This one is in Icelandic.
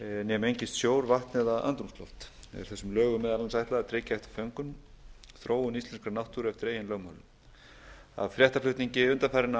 né mengist sjór vatn eða andrúmsloft er þessum lögum meðal annars ætlað að tryggja eftir föngum þróun íslenskrar náttúru eftir eigin lögmálum af fréttaflutningi undanfarinna